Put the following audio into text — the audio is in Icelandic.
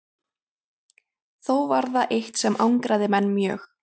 Þó var það eitt sem angraði menn mjög.